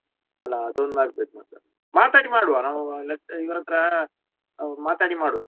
ಅಲ್ಲಾ ಅದ ಹೆಂಗ ಆಗತೈತಿ ಮತ್ತ ಮಾತಾಡಿ ಮಾಡುವಾ ನಾವು lecture ಹತ್ರ ಮಾತಾಡಿ ಮಾಡುವಾ.